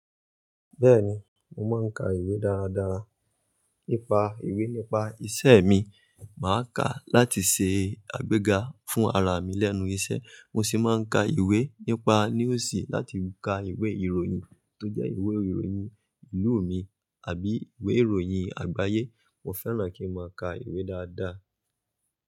Bẹ́ẹ̀ni, mo máa ń ka ìwé dára dára. Ípa ìwé nípa ìṣe mi, màá kà á láti ṣe àgbéga fún ara mi lẹ́nu iṣẹ́. Mo sì máa ń ka ìwé nípa News láti ka ìwé ìròyìn tó jẹ́ ìwé ìròyìn ìlú mi àbí ìwé ìròyìn àgbáyé. Mo fẹ́ràn kí n máa ka ìwé dáadáa.